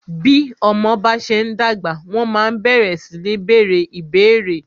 Bí ọmọ bá ṣe ń dàgbà, wọ́n ma ń bẹ̀rẹ sí ní bèèrè ìbéérè.